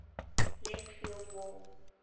left field wall